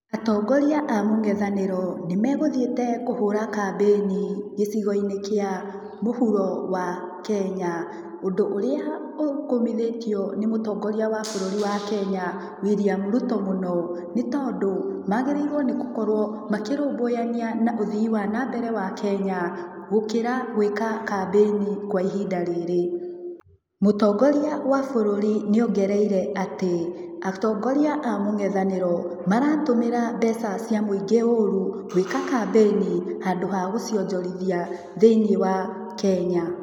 Atongoria a mũng'ethanĩro nĩ megũthiĩte kũhũra kambĩni gĩcigo-inĩ kĩa mũhuro wa Kenya, ũndũ ũrĩa ũkũmithĩtio nĩ mũtongoria wa bũrũri wa Kenya William Ruto mũno, nĩ tondũ magĩrĩirwo nĩ gũkorwo makĩrũmbũyania na ũthii wa nambere wa Kenya gũkĩra gwĩka kambĩni kwa ihinda rĩrĩ, mũtongoria wa bũrũri nĩ ongereire atĩ, atongoria a mũng'etanĩro maratũmĩra mbeca cia mũingĩ ũru, gwĩka kambĩni handũ ha gũcionjorithia thĩinĩ wa Kenya.